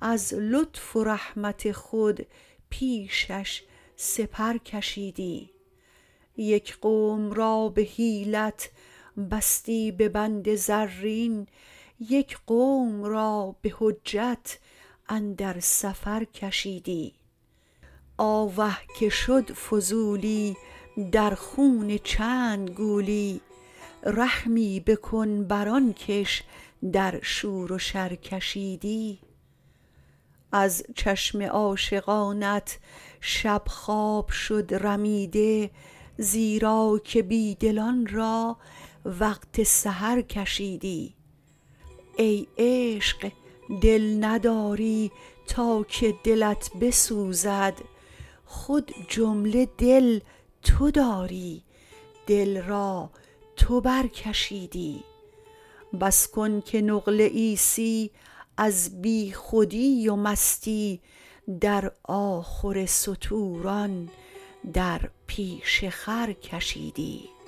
از لطف و رحمت خود پیشش سپر کشیدی یک قوم را به حیلت بستی به بند زرین یک قوم را به حجت اندر سفر کشیدی آوه که شد فضولی در خون چند گولی رحمی بکن بر آن کش در شور و شر کشیدی از چشم عاشقانت شب خواب شد رمیده زیرا که بی دلان را وقت سحر کشیدی ای عشق دل نداری تا که دلت بسوزد خود جمله دل تو داری دل را تو برکشیدی بس کن که نقل عیسی از بیخودی و مستی در آخر ستوران در پیش خر کشیدی